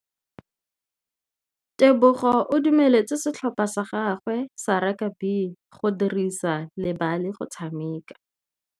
Tebogô o dumeletse setlhopha sa gagwe sa rakabi go dirisa le galê go tshameka.